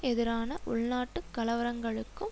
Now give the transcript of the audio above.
எதிரான உள்நாட்டு கலவரங்களுக்கும்